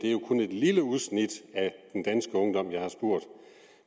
lille udsnit af den danske ungdom